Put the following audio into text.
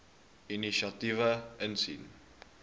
inisiatiewe insien